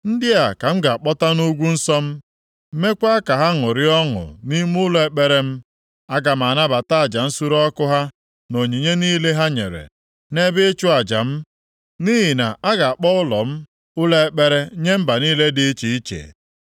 ndị a ka m ga-akpọta nʼugwu nsọ m, meekwa ka ha ṅụrịa ọṅụ nʼime ụlọ ekpere m. Aga m anabata aja nsure ọkụ ha na onyinye niile ha nyere nʼebe ịchụ aja m. Nʼihi na a ga-akpọ ụlọ m Ụlọ Ekpere nye mba niile dị iche iche.”